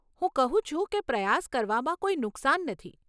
હું કહું છું કે પ્રયાસ કરવામાં કોઈ નુકસાન નથી.